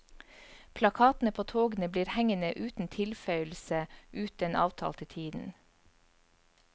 Plakatene på togene blir hengende uten tilføyelse ut den avtalte tiden.